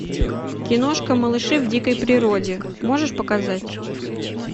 киношка малыши в дикой природе можешь показать